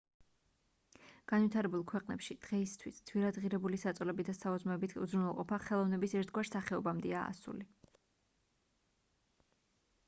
განვითარებულ ქვეყნებში დღეისთვის ძვირადღირებული საწოლებით და საუზმეებით უზრუნველყოფა ხელოვნების ერთგვარ სახეობამდეა ასული